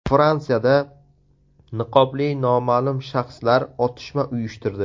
Fransiyada niqobli noma’lum shaxslar otishma uyushtirdi.